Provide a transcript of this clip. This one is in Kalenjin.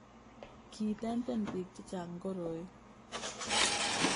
kiitenten biik che chang' koroi